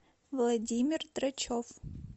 владимир драчев